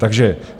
Takže: